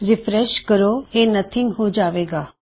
refresh ਕਰੋ ਇਹ nothing ਹੋ ਜਾਵੇ ਗਾ